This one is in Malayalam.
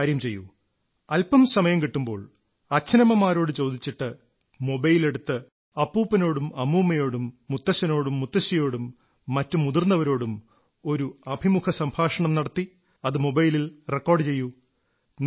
ഒരു കാര്യം ചെയ്യൂ അല്പം സമയം കിട്ടുമ്പോൾ അച്ഛനമ്മമാരോട് ചോദിച്ചിട്ട് മൊബൈലെടുത്ത് അപ്പൂപ്പനോടും അമ്മൂമ്മയോടും മുത്തച്ഛനോടും മുത്തശ്ശിയോടും മറ്റു മുതിർന്നവരോടും ഒരു അഭിമുഖസംഭാഷണം നടത്തി അത് മൊബൈലിൽ റെക്കോഡ് ചെയ്യൂ